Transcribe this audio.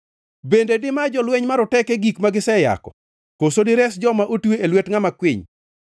Bende dima jolweny maroteke gik ma giseyako, koso dires joma otwe e lwet ngʼama kwiny?